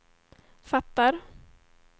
fattar